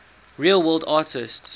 real world artists